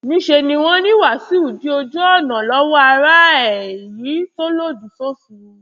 níṣẹ ni wọn ní wàsíù dí ojú ọnà lọwọ ara ẹ èyí tó lòdì sófin